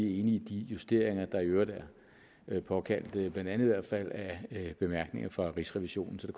i de justeringer der i øvrigt er påkaldt blandt andet af af bemærkninger fra rigsrevisionen så